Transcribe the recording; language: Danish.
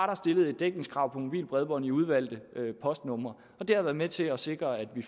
der stillet et dækningskrav på mobilt bredbånd i udvalgte postnumre det har været med til at sikre at vi